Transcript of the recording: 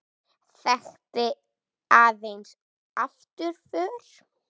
Þekkti aðeins afturför.